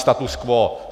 Status quo.